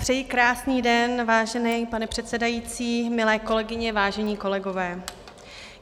Přeji krásný den, vážený pane předsedající, milé kolegyně, vážení kolegové.